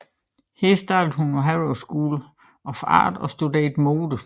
Her startede hun på Harrow School of Art og studerede mode